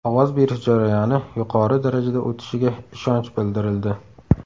Ovoz berish jarayoni yuqori darajada o‘tishiga ishonch bildirildi.